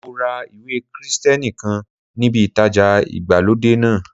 Mo ra ìwé Krìsìtẹ́nì kan níbi ìtajà ìgbàlódé náà.